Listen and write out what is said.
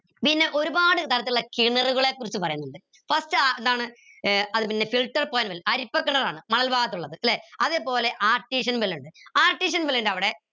പിന്നെ ഒരുപാട് തരത്തിലുള്ള കിണറുകളെ കുറിച്ച് പറയുന്നുണ്ട് first എന്താണ് ഏർ അതുപിന്നെ filter അരിപ്പ കിണറാണ് മണൽ ഭാഗത്തുള്ള ല്ലെ അതുപോലെതന്നെ ഇണ്ട് ൻ്റെ അവിടെ